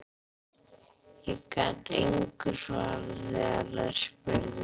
Ég gat engu svarað þegar þær spurðu.